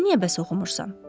Sən niyə bəs oxumursan?